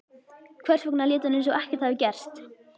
Hvers vegna lét hún eins og ekkert hefði gerst?